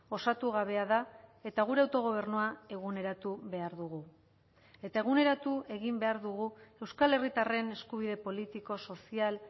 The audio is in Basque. osatu gabea da eta gure autogobernua eguneratu behar dugu eta eguneratu egin behar dugu euskal herritarren eskubide politiko sozial